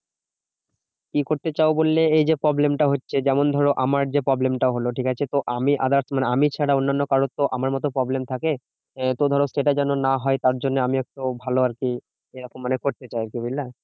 কি করতে চাও বললে? এই যে problem টা হচ্ছে। যেমন ধরো আমার যে problem টা হলো ঠিকাছে? তো আমি others মানে আমি ছাড়া অন্যান্য কারোর তো আমার মতো problem থাকে। তো ধরো সেটা যেন না হয়, তার জন্য আমি একটা ভালো আরকি এরকম মানে করতে চাই আরকি বুঝলে?